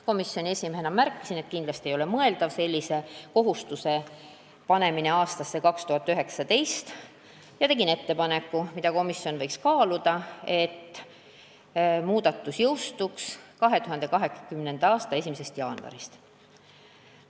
Komisjoni esimehena märkisin, et kindlasti ei ole mõeldav sellise kohustuse panemine aastasse 2019, ja tegin ettepaneku, mida komisjon võiks kaaluda, nimelt, muudatus jõustuks 2020. aasta 1. jaanuarist.